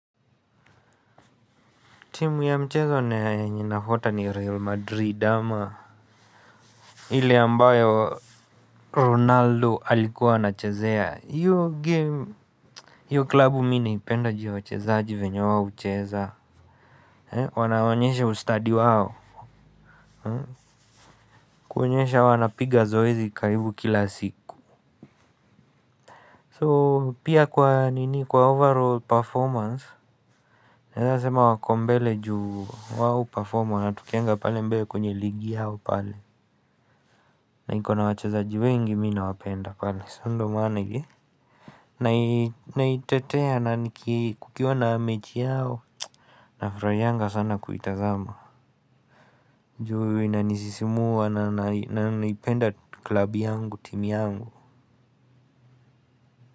Timu ya mchezo na yenye nafuata ni Real Madrid ama ile ambayo Ronaldo alikuwa anachezea. Hiyo klabu mi naipenda juu ya wachezaji venye wao hucheza. Wanawaonyesha ustadi wao. Kuonyesha wanapiga zoezi karibu kila siku So pia kwa overall performance naeza sema wako mbele ju wao huperform wanatokeaga pale mbele kwenye ligi yao pale. Na iko na wachazaji wengi mi nawapenda pale sa ndo maana. Naitetea na kukiwa na mechi yao. Nafurahianga sana kuitazama. Juu inanisisimua na naipenda klabu yangu timu yangu.